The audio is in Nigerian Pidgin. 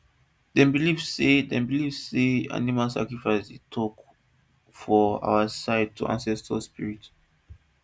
dem believe say dem believe say animal sacrifice dey talk for our side to ancestors spirit